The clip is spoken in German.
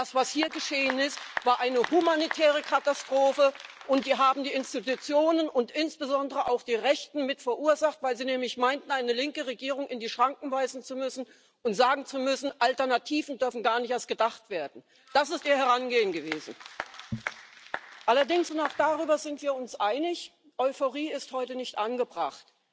Das, was hier geschehen ist, war eine humanitäre Katastrophe, und die haben die Institutionen und insbesondere auch die Rechten mit verursacht, weil sie nämlich meinten, eine linke Regierung in die Schranken weisen zu müssen und sagen zu müssen Alternativen dürfen gar nicht erst gedacht werden. Das ist ihr Herangehen gewesen! Allerdings, und auch darüber sind wir uns einig Euphorie ist heute nicht angebracht.